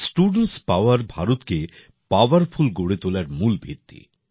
students power ভারতকে powerful গড়ে তোলার মূল ভিত্তি